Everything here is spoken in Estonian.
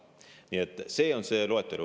Nii et selline on see loetelu.